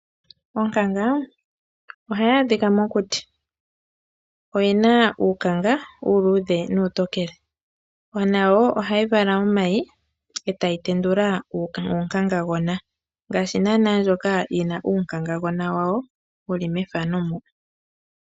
Onkanga ohayi adhika mokuti. Oyena uukanga uuluudhe nuutokole nawo ohayi vala omayi etayi tendula uunkangagona ngaashi naana ndjoka yina uunkangagona wawo wuli methano mo.